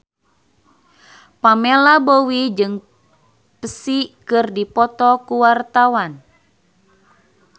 Pamela Bowie jeung Psy keur dipoto ku wartawan